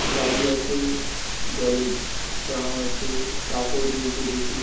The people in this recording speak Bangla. বাড়ি আছে জলের ট্রাম আছে কাপড় ঝুলছে কিছু।